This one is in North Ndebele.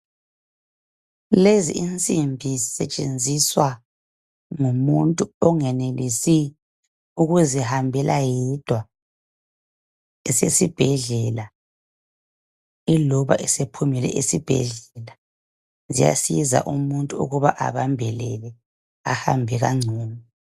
Lezi insimbi zisetshenziswa ngumuntu ongenelisi ukuzihambela yedwa, esesibhedlela iloba esephumile esibhedlela. Ziyasiza umuntu ukuba abambelele ahambe kangcono.